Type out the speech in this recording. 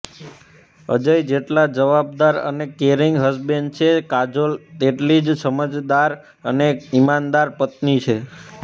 અજય જેટલા જવાબદાર અને કેયરિંગ હસબેંડ છે કાજોલ તેટલી જ સમજદાર અને ઈમાનદાર પત્ની છે